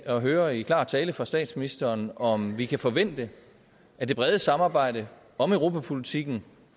at høre i klar tale fra statsministeren om vi kan forvente at det brede samarbejde om europapolitikken